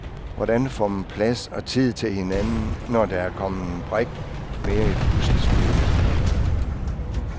Hvordan får man plads og tid til hinanden, når der er kommet en brik mere i puslespillet?